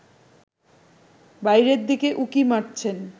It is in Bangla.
বাইরের দিকে উঁকি মারছেন